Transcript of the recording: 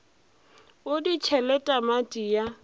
o di tšhele tamati ya